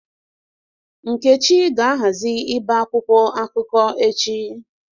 Nkechi ga-ahazi íbè akwụkwọ akụkọ echi.